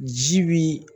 Ji bi